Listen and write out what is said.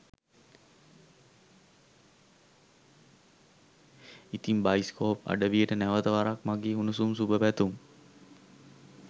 ඉතිං බයිස්කෝප් අඩවියට නැවත වරක් මගේ උණූසුම් සුභ පැතුම්